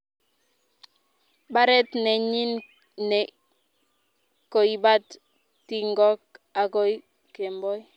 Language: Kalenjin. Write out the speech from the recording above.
baret nenyin ne koibat tingok akoi kemboi